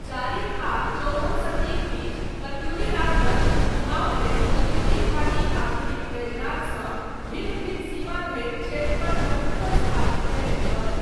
चारिम आ चौदहम शतीक बीच, कत्यूरी राजवंश कुमाऊँमे कत्यूरी घाटी आधुनिक बैजनाथ सँ भिन्न भिन्न सीमा धरि क्षेत्रपर प्रभुत्त्व स्थापित कयने छल।